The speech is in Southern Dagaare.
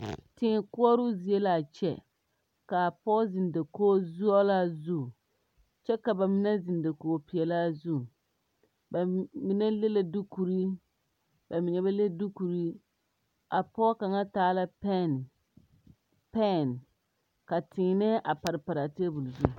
Tēē koɔrɔɔ zie laa kyɛ kaa pɔɔ zeŋ dakoge sɔglaa zu kyɛ ka ba mine zeŋ dakoge peɛɛlaa zu ba mine le la duukurre ba mine ba le duukurre a pɔɔ kaŋa taa la pɛn pɛɛn ka tēēnɛɛ a pare paraa tabol zu.